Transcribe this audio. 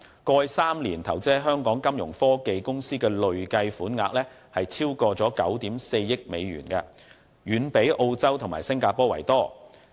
過去3年間，投資在香港金融科技公司的累計款額已超過9億 4,000 萬美元，遠比澳洲和新加坡為多。